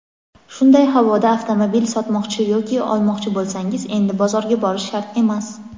Shunday havoda avtomobil sotmoqchi yoki olmoqchi bo‘lsangiz endi bozorga borish shart emas.